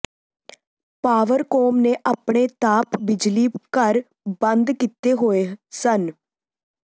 Powercom ਨੇ ਆਪਣੇ ਤਾਪ ਬਿਜਲੀ ਘਰ ਬੰਦ ਕੀਤੇ ਹੋਏ ਸਨ